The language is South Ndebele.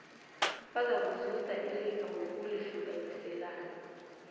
bazakuzuza ilifa ngokulihlukaniselana